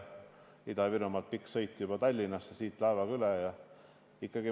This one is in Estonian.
Ida-Virumaalt on Tallinnassegi pikk sõit ja siit tuleb laevaga veel üle lahe minna.